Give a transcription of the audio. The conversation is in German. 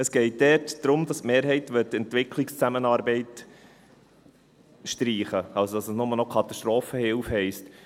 Es geht dort darum, dass die Mehrheit die Entwicklungszusammenarbeit streichen möchte, also, dass es nur noch Katastrophenhilfe heisst.